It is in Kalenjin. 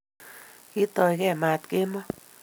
Kitoyge maat kemoi